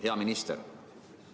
Hea minister!